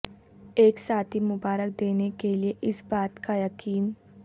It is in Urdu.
ایک ساتھی مبارک دینے کے لئے اس بات کا یقین